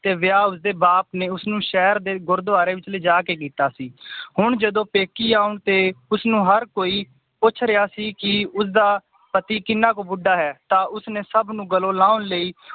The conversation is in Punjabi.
ਤੇ ਵਿਆਹ ਉਸਦੇ ਬਾਪ ਨੇ ਉਸਨੂੰ ਸ਼ਹਿਰ ਦੇ ਗੁਰੁਦ੍ਵਾਰੇ ਵਿਚ ਲੈ ਜਾ ਕੇ ਕੀਤਾ ਸੀ ਹੁਣ ਜਦੋਂ ਪੇਕੀਂ ਆਉਣ ਤੇ ਉਸਨੂੰ ਹਰ ਕੋਈ ਪੁੱਛ ਰਿਆ ਸੀ ਕਿ ਉਸਦਾ ਪਤੀ ਕਿੰਨਾ ਕੁ ਬੁੱਢਾ ਹੈ ਤਾਂ ਉਸਨੇ ਸਬਨੁ ਗਲੋਂ ਲਾਉਣ ਲਈ